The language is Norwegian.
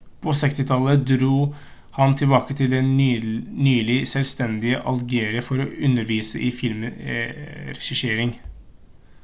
på 60-tallet dro han tilbake til det nylig selvstendige algerie for å undervise i filmregissering